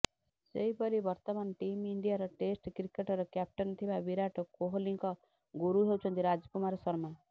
ସେହିପରି ବର୍ତ୍ତମାନ ଟିମ୍ ଇଣ୍ଡିଆର ଟେଷ୍ଟ କ୍ରିକେଟର କ୍ୟାପ୍ଟେନ ଥିବା ବିରାଟ କୋହଲିଙ୍କ ଗୁରୁ ହେଉଛନ୍ତି ରାଜ୍କୁମାର ଶର୍ମା